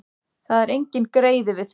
Þetta var enginn greiði við þig.